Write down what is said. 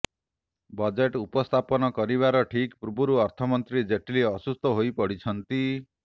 budget ଉପସ୍ଥାପନ କରିବାର ଠିକ୍ ପୂର୍ବରୁ ଅର୍ଥମନ୍ତ୍ରୀ ଜେଟଲୀ ଅସୁସ୍ଥ ହୋଇପଡ଼ିଛନ୍ତି